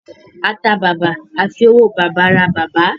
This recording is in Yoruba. A tà bàbà, a fi owó bàbà ra bàbá